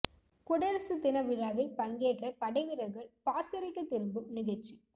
குடியரசு தின விழாவில் பங்கேற்ற படை வீரர்கள் பாசறைக்கு திரும்பும் நிகழ்ச்சி